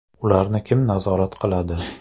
Ularni kim nazorat qiladi?.